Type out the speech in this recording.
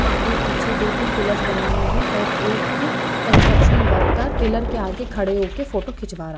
आगे पीछे दो तीन पिल्लर्स बने हुए हैं और एक कंस्ट्रक्शन वर्कर पिल्लर के आगे खड़े हो के फोटो खिचवा रा --